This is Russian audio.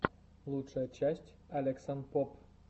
лучшая часть алексанпоб